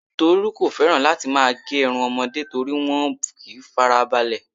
Tolu kò feran láti má gé irun ọmọde toripe wọn ò kí n fara balẹ